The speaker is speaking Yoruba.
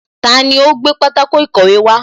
Taani ó gbé pátákó ìkọ̀wé wá